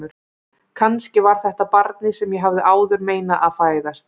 Kannski var þetta barnið sem ég hafði áður meinað að fæðast.